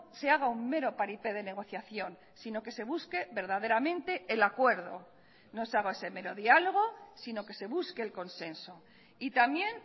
se haga un mero paripé de negociación sino que se busque verdaderamente el acuerdo no se haga ese mero diálogo sino que se busque el consenso y también